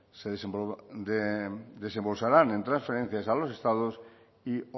se desembolsarán en transferencias a los estados y